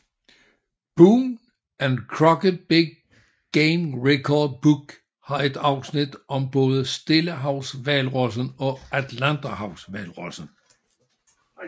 Boone and Crockett Big Game Record book har et afsnit om både stillehavshvalrossen og atlanterhavshvalrossen